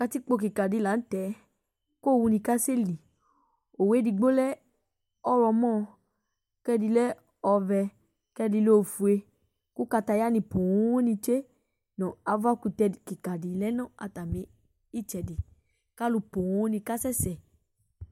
Katikpo kika di laŋtɛ , kʋ owu ni kaseli Owu edigbo lɛ ɔɣlɔmɔ, kʋ ɛdi lɛ ɔvɛ, kʋ ɛdi lɛ ofue Kʋ kataya ni pooo nitsoe Nu afa kutɛ kika di lɛ nʋ atami itsɛdi Kʋ alu pooo ni kasɛsɛ